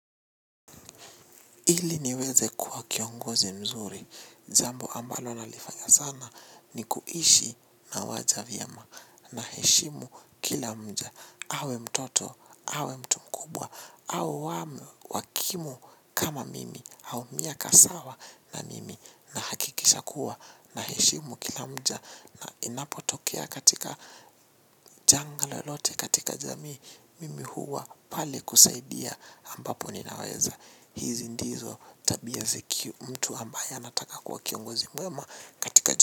Ili niweze kuwa kiongozi mzuri. Jambo ambalo nalifanya sana ni kuishi na waja vyema, naheshimu kila mja. Awe mtoto, awe mtu mkubwa, awe wa kimu kama mimi au miaka sawa na mimi, nahakikisha kuwa naheshimu kila mja. Na inapotokea katika janga lolote katika jamii mimi huwa pale kusaidia ambapo ninaweza. Hizi ndizo tabia ziki mtu ambaye anataka kuwa kiongozi mwema katika.